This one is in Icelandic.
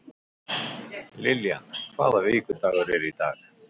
Lillian, hvaða vikudagur er í dag?